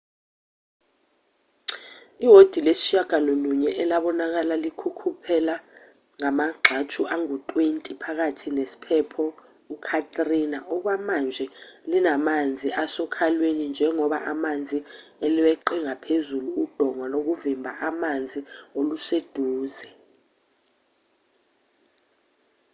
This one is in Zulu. iwodi lesishiyagalolunye elabonakala likhukhuleka ngamagxathu angu-20 phakathi nesiphepho u-katrina okwamanje linamanzi asokhalweni njengoba amanzi elweqe ngaphezulu udonga lokuvimba amanzi oluseduze